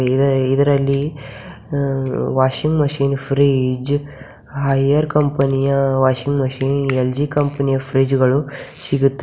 ಇದ ಇದರಲ್ಲಿ washing machine fridge ಆ ಏರ್ ಕಂಪನಿಯ ವಾಷಿಂಗ್ ಮಷೀನ್ ಎಲ್_ಜಿ ಕಂಪನಿಯ ಫ್ರೀಜ್ ಗಳು ಸಿಗುತ್ತವೆ.